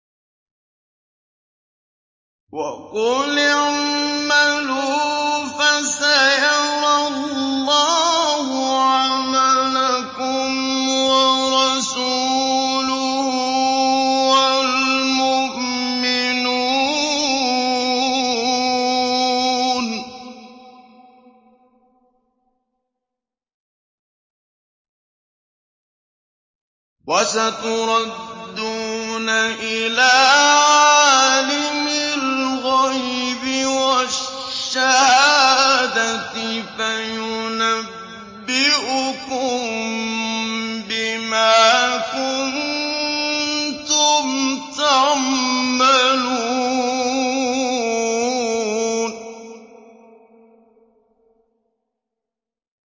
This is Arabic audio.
وَقُلِ اعْمَلُوا فَسَيَرَى اللَّهُ عَمَلَكُمْ وَرَسُولُهُ وَالْمُؤْمِنُونَ ۖ وَسَتُرَدُّونَ إِلَىٰ عَالِمِ الْغَيْبِ وَالشَّهَادَةِ فَيُنَبِّئُكُم بِمَا كُنتُمْ تَعْمَلُونَ